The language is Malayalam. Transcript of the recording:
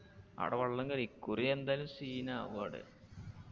ആട വെള്ളം കേറി ഇക്കുറി എന്തായാലും scene ആവു ആടെ